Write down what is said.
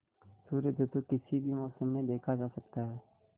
सूर्योदय तो किसी भी मौसम में देखा जा सकता है